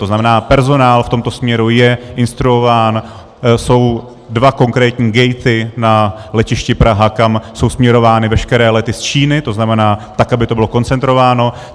To znamená, personál v tomto směru je instruován, jsou dva konkrétní gaty na letišti Praha, kam jsou směrovány veškeré lety z Číny, to znamená tak, aby to bylo koncentrováno.